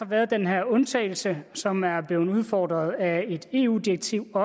været den her undtagelse som ogå er blevet udfordret af et eu direktiv